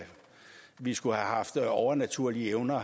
vi skulle have haft overnaturlige evner